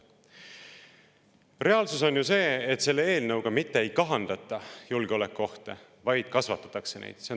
Reaalsus on ju see, et selle eelnõuga mitte ei kahandata julgeolekuohte, vaid kasvatatakse neid.